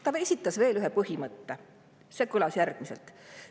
Ta esitas veel ühe põhimõtte, mis kõlas järgmiselt.